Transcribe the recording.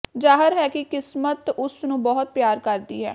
ਜ਼ਾਹਰ ਹੈ ਕਿ ਕਿਸਮਤ ਉਸ ਨੂੰ ਬਹੁਤ ਪਿਆਰ ਕਰਦੀ ਹੈ